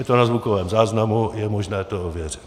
Je to na zvukovém záznamu, je možné to ověřit.